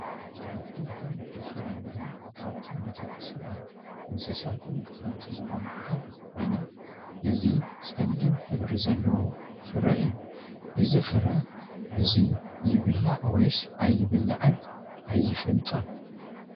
ኣ|ትክልትን ፍለምረን ካብቶም ንደቂ ሰባት እንስሳን ተጠምቲ ዝኮኑ ሓደ ኮይና እዚ ፀሊም ሕብሪ ዘለዎ ፈረ እዩ ። እዚ ፍረ እዙይ ይብላዕ ወይስ ኣይብላዕን ኣይፈልጦን።